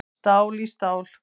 Stál í stál